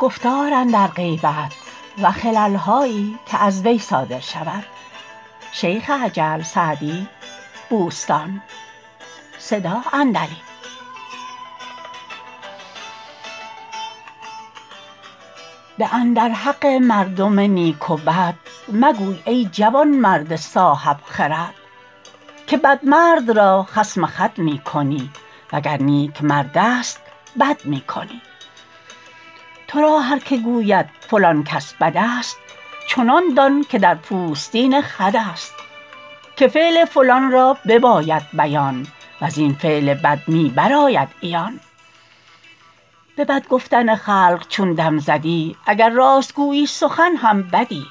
بد اندر حق مردم نیک و بد مگوی ای جوانمرد صاحب خرد که بد مرد را خصم خود می کنی وگر نیک مردست بد می کنی تو را هر که گوید فلان کس بد است چنان دان که در پوستین خود است که فعل فلان را بباید بیان وز این فعل بد می برآید عیان به بد گفتن خلق چون دم زدی اگر راست گویی سخن هم بدی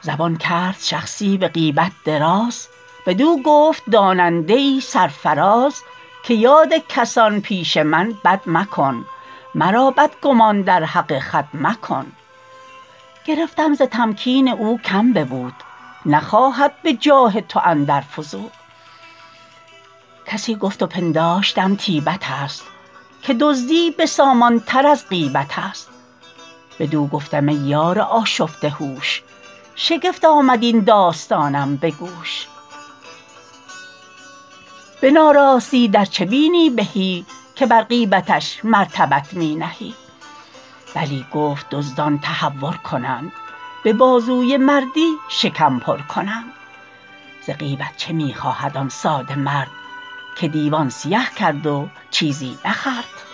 زبان کرد شخصی به غیبت دراز بدو گفت داننده ای سرفراز که یاد کسان پیش من بد مکن مرا بدگمان در حق خود مکن گرفتم ز تمکین او کم ببود نخواهد به جاه تو اندر فزود کسی گفت و پنداشتم طیبت است که دزدی بسامان تر از غیبت است بدو گفتم ای یار آشفته هوش شگفت آمد این داستانم به گوش به ناراستی در چه بینی بهی که بر غیبتش مرتبت می نهی بلی گفت دزدان تهور کنند به بازوی مردی شکم پر کنند ز غیبت چه می خواهد آن ساده مرد که دیوان سیه کرد و چیزی نخورد